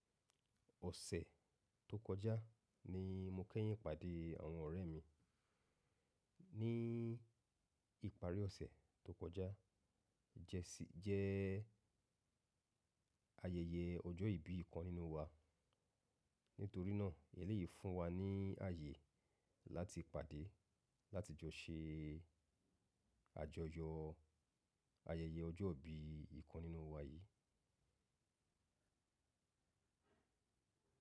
Ọ̀sẹ̀ tó kọjá ni mo kẹ́yìn pàdé àwọn ọ̀rẹ́ mi. Ní ìparí ọ̀sẹ̀ tó kọjá jẹ́ si je ayẹyẹ ọjọ́ ìbí kan nínú wa. Nítorí náà, eléyìí fún wa ní ààyè láti pàdé láti jọ ṣe àjọyọ̀ ayẹyẹ ọjọ́ ìbí kan nínú wa yìí.